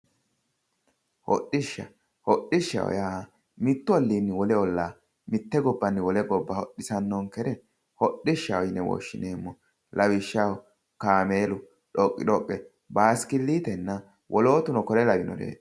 Hodhishsha, hodhishshaho yaa mitu ollonni wole olla ,mite gobbanni wole gobba hodhisanonkere hodhishshaho yinne woshshineemmo lawishshaho kaameelu dhoqi-dhoqe ,basikilitenna wolootuno kore lawinoreti.